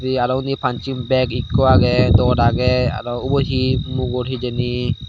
he arow undi pancing bag ekko agey rod agey arow uboh hi mugor hijeni.